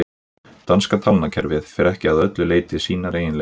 Danska talnakerfið fer ekki að öllu leyti sínar eigin leiðir.